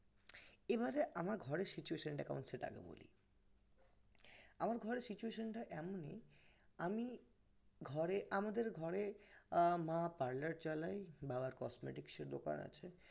এবারে আমার ঘরের situation টা কেমন একটু বলি আমার ঘরের situation টা এমনই আমি ঘরে আমাদের ঘরে আমার মা parlor চালায় বাবার cosmetics এর দোকান আছে